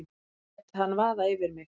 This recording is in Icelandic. Ég lét hann vaða yfir mig.